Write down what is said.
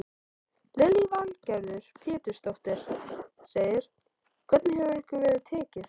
Lillý Valgerður Pétursdóttir: Hvernig hefur ykkur verið tekið?